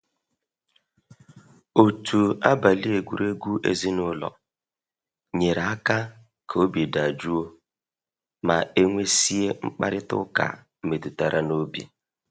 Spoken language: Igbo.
Otu abali egwuregwu ezinụlọ nyere aka ka obi dajụọ ma e nwesia mkparịta ụka metụtara n'obi.